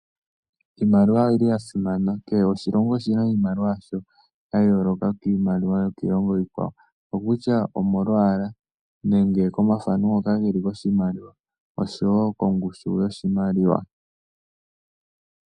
Iimaliwa oya simana, kehe oshilongo oshina iimaliwa yasho ya yooloka kiilongo iikwawo ongele omolwaalwa oshowo kongushu yoshimaliwa.